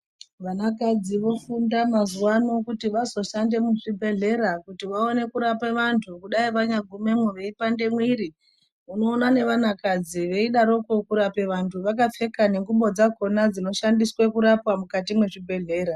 Vanakadzi vofunda mazuwa ano kuti vazoshanda muzvibhehleya kuti vaone kurapa vantu ,kudai vanyagumwemo veipande mwiri unoona nevana kadzi veidaroko kurape vantu vakapfeka nengubo dzakona dzinoshandiswe kurapa mukati mwezvibhehlera.